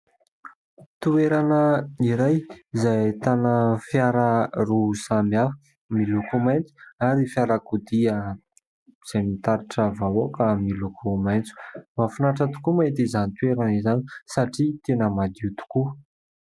Toerana iray izay ahitana fiara roa samihafa, miloko mainty ary fiarakodia izay mitatitra vahoaka miloko maitso. Mahafinaritra tokoa ny mahita izany toerana izany satria tena madio tokoa.